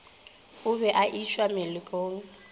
o be a išwa melokong